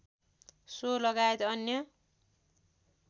so लगायत अन्य